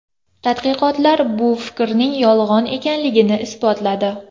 Tadqiqotlar bu fikrning yolg‘on ekanligini isbotladi.